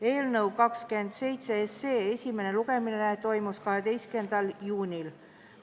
Eelnõu 27 esimene lugemine toimus 12. juunil.